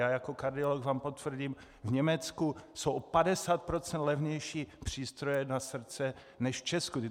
Já jako kardiolog vám potvrdím, v Německu jsou o 50 % levnější přístroje na srdce než v Česku.